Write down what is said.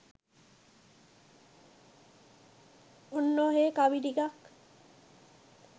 ඔන්න ඔහෙ කවි ට්කක්